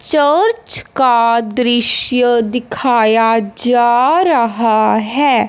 Church का दृश्य दिखाया जा रहा है।